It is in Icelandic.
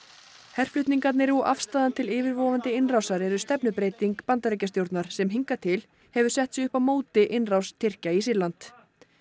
herflutningarnir og afstaðan til yfirvofandi innrásar eru stefnubreyting Bandaríkjastjórnar sem hingað til hefur sett sig upp á móti innrás Tyrkja í Sýrland